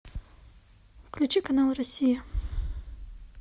включи канал россия